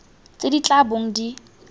tse di tla bong di